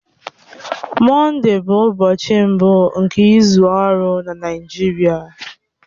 Mọnde bụ ụbọchị mbụ nke izu ọrụ na Naịjirịa.